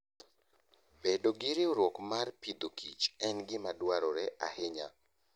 Bedo gi riwruok mar pidhokich en gima dwarore ahinya.